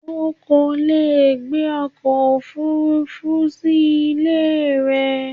O kò lè gbé ọkọ̀ òfuurufú sí ilé rẹ.